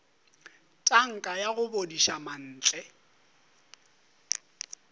tanka ya go bodiša mantle